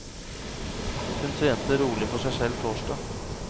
Hun trente rolig for seg selv torsdag.